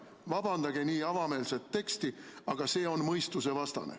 Vabandage nii avameelset juttu, aga see on mõistusevastane.